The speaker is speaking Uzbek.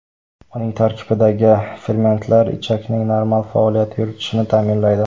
Uning tarkibidagi fermentlar ichakning normal faoliyat yuritishini ta’minlaydi.